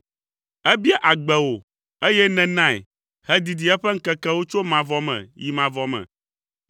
Ebia agbe wò, eye nènae hedidi eƒe ŋkekewo tso mavɔ me yi mavɔ me.